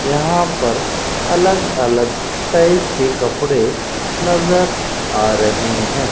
यहां पर अलग अलग टाइप के कपड़े नजर आ रहे हैं।